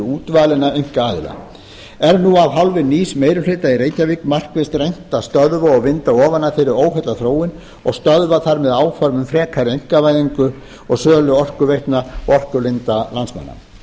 útvalinna einkaaðila er nú af hálfu nýs meiri hluta í reykjavík markvisst reynt að stöðva og vinda ofan af þeirri óheillaþróun og stöðva þannig áform um frekari einkavæðingu og sölu orkuveitna og orkulinda landsmanna